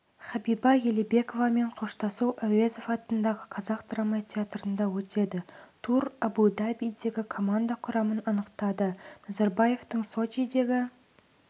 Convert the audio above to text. хабиба елебековамен қоштасу әуезов атындағы қазақ драма театрында өтеді тур әбу-дабидегі команда құрамын анықтады назарбаевтың сочидегі